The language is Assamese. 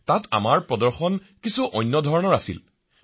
তাত আমাৰ প্ৰদৰ্শন কিছু ভিন্ন আছিল মহাশয়